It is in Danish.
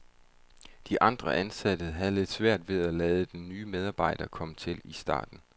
De andre ansatte havde lidt svært ved at lade den nye medarbejder komme til i starten.